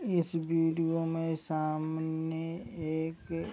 इस विडिओ मे सामने एक --